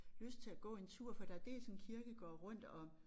Lyst til at gå en tur for der er dels en kirkegård rundt om